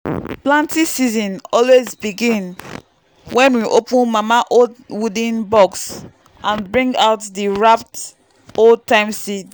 planting season always begin when we open mama old wooden box and bring out the wrapped old-time seeds.